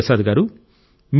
గురు ప్రసాద్ గారూ